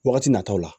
Wagati nataw la